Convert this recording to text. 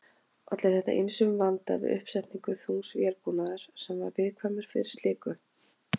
Olli þetta ýmsum vanda við uppsetningu þungs vélbúnaðar sem var viðkvæmur fyrir slíku.